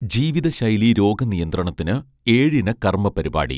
ജീവിതശൈലീ രോഗനിയന്ത്രണത്തിന് ഏഴിന കർമ്മപരിപാടി